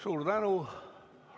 Suur tänu!